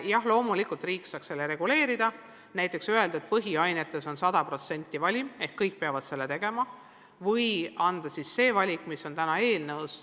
Jah, loomulikult saaks riik seda reguleerida, näiteks öelda, et põhiainetes on 100%-line valim ehk et kõik peavad tasemetöö tegema, või siis teha võimalikuks valik, mis on täna eelnõus.